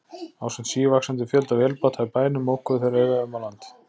Ásamt sívaxandi fjölda vélbáta í bænum mokuðu þeir auðæfum á land.